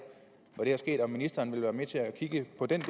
hvor det er sket vil ministeren være med til at kigge på den